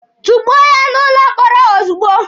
Tukpuo ya n'ụlọ mkpọrọ ozugbo!